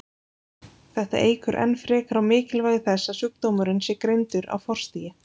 Þetta eykur enn frekar á mikilvægi þess að sjúkdómurinn sé greindur á forstigi.